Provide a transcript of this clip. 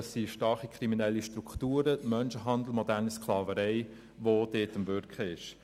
Es gibt starke kriminelle Strukturen wie Menschenhandel und Sklaverei, die dort am Wirken sind.